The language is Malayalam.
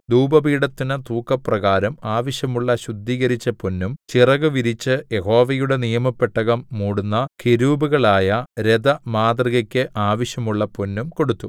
ധൂപപീഠത്തിന് തൂക്കപ്രകാരം ആവശ്യമുള്ള ശുദ്ധീകരിച്ച പൊന്നും ചിറകുവിരിച്ചു യഹോവയുടെ നിയമപെട്ടകം മൂടുന്ന കെരൂബുകളായ രഥമാതൃകയ്ക്ക് ആവശ്യമുള്ള പൊന്നും കൊടുത്തു